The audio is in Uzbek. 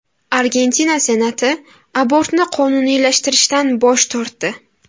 Argentina Senati abortni qonuniylashtirishdan bosh tortdi.